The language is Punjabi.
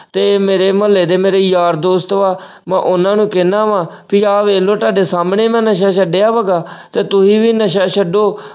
ਤੇ ਮੇਰੇ ਮੁਹੱਲੇ ਦੇ ਮੇਰੇ ਯਾਰ ਦੋਸਤ ਉਹ ਆਹ ਮੈਂ ਉਹਨਾਂ ਨੂੰ ਕਹਿਣਾ ਵਾ ਕਿ ਆ ਵੇਖ ਲਓ ਤੁਹਾਡੇ ਸਾਹਮਣੇ ਮੈਂ ਨਸ਼ੇ ਛੱਡੇ ਆ ਮਖਾਂ, ਤੇ ਤੁਸੀਂ ਵੀ ਨਸ਼ਾ ਛੱਡੋ।